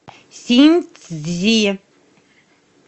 синьцзи